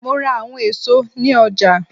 Mo ra awọn eso ni ọja.